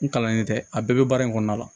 N kalannen tɛ a bɛɛ bɛ baara in kɔnɔna la